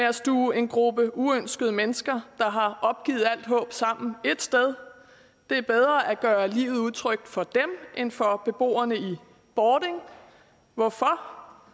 at stuve en gruppe uønskede mennesker der har opgivet alt håb sammen et sted det er bedre at gøre livet utrygt for dem end for beboerne i bording hvorfor